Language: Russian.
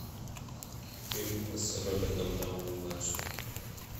фильм с робертом дауни младшим